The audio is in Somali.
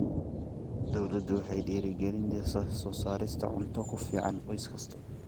Dawladdu waxay dhiirigelinaysaa soo saarista cunto ku filan qoys kasta.